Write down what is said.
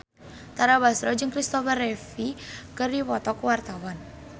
Tara Basro jeung Christopher Reeve keur dipoto ku wartawan